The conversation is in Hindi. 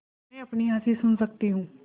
मैं अपनी हँसी सुन सकती हूँ